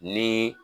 Ni